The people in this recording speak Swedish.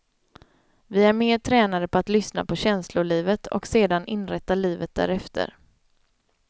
Vi är mer tränade på att lyssna på känslolivet, och sedan inrätta livet därefter.